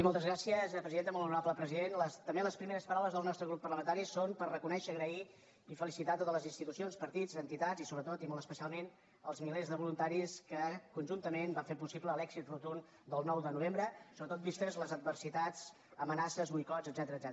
molt honorable president també les primeres paraules del nostre grup parlamentari són per reconèixer donar les gràcies i felicitar a totes les institucions partits entitats i sobretot i molt especialment els milers de voluntaris que conjuntament van fer possible l’èxit rotund del nou de novembre sobretot vistes les adversitats amenaces boicots etcètera